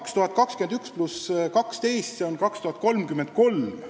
2021 pluss 12, see on 2033.